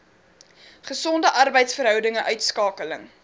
gesonde arbeidsverhoudinge uitskakeling